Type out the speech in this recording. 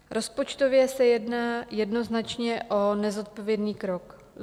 Rozpočtově se jedná jednoznačně o nezodpovědný krok.